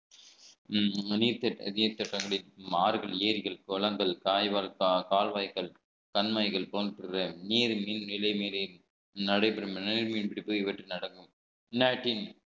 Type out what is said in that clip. ஆறுகள் ஏரிகள் குளங்கள் கால்வாய்~ கால்வாய்கள் கண்மாய்கள் போன்ற நீர் மின்நிலை மீறி நடைபெறும் என மீன் பிடிப்பது இவற்றில் நடக்கும் இந்நாட்டில்